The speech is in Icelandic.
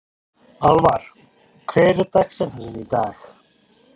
Alvar, hver er dagsetningin í dag?